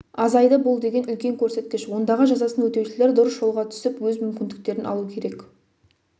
азайды бұл деген үлкен көрсеткіш ондағы жазасын өтеушілер дұрыс жолға түсіп өз мүмкіндіктерін алу керек